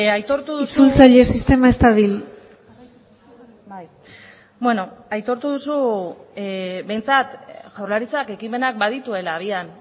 aitortu duzu itzultzaile sistema ez dabil beno aitortu duzu behintzat jaurlaritzak ekimenak badituela abian